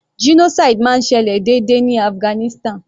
Genocide máa ń ṣẹlẹ̀ déédé ní Afghanistan.